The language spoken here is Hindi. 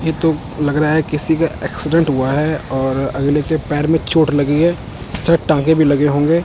ये तो लग रहा है किसी का एक्सिडेंट हुआ है और अगले के पैर मे चोट लगी है शायद टांके भी लगे होंगे--